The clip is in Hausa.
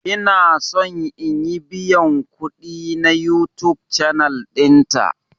Ina son in yi biyan kudi na YouTube channel dinta.